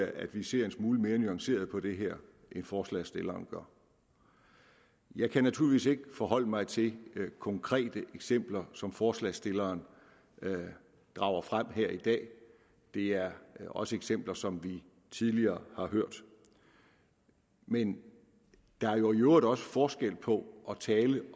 at vi ser en smule mere nuanceret på det her end forslagsstilleren gør jeg kan naturligvis ikke forholde mig til konkrete eksempler som forslagsstilleren drager frem her i dag det er også eksempler som vi tidligere har hørt men der er jo i øvrigt også forskel på at tale